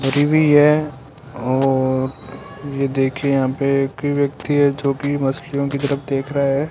हरी भी है और ये देखिए यहां पे एक व्यक्ति है जोकि मछलियों की तरफ देख रहा है।